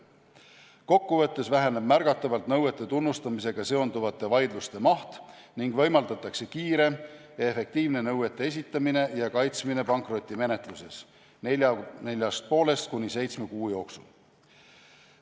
Kokku võttes väheneb märgatavalt nõuete tunnustamisega seonduvate vaidluste maht ning võimaldatakse kiire ja efektiivne nõuete esitamine ja kaitsmine pankrotimenetluses neljast ja poolest kuni seitsme kuu jooksul.